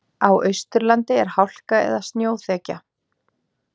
Á Austurlandi er hálka eða snjóþekja